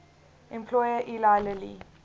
employer eli lilly